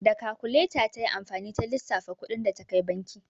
Da kakuleta ta yi amfani ta lissafa kuɗin da ta kai banki.